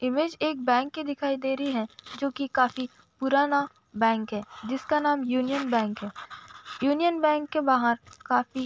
image एक bank की दिखाई दे रही है जो की काफी पुराना बैंक है जिसका नाम युनियन बैंक है यूनियन बैंक के बाहर काफी --